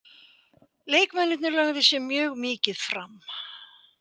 Leikmennirnir lögðu sig mjög mikið fram.